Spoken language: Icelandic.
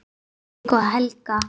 Hinrik og Helga.